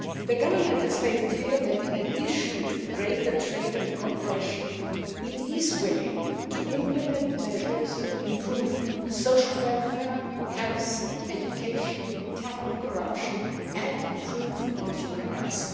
The Government has made it clear that, in addition to greater trade and cooperation, it is willing to implement measures to improve social welfare, health, education, tackle corruption and improve human rights.